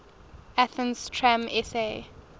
athens tram sa